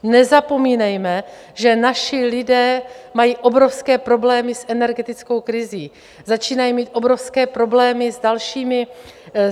Nezapomínejme, že naši lidé mají obrovské problémy s energetickou krizí, začínají mít obrovské problémy s dalšími...